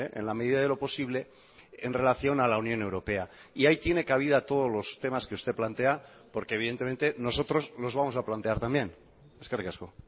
en la medida de lo posible en relación a la unión europea y ahí tiene cabida todos los temas que usted plantea porque evidentemente nosotros los vamos a plantear también eskerrik asko